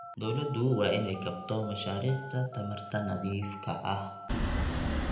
Dawladdu waa inay kabto mashaariicda tamarta nadiifka ah.